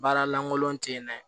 Baara lankolon te yen nɛ